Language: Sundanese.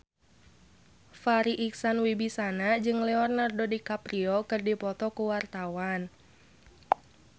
Farri Icksan Wibisana jeung Leonardo DiCaprio keur dipoto ku wartawan